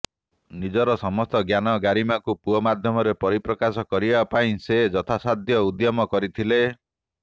ନିଜର ସମସ୍ତଜ୍ଞାନ ଗାରିମାକୁ ପୁଅ ମାଧ୍ୟମରେ ପରିପ୍ରକାଶ କରିବା ପାଇଁ ସେ ଯଥାସାଧ୍ୟ ଉଦ୍ୟମ କରିଥିଲେ